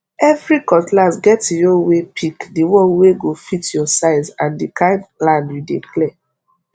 every cutlass get e own waypick the one wey go fit your size and the kind land you dey clear